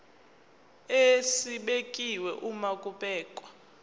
esibekiwe uma kubhekwa